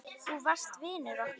Þú varst vinur okkar.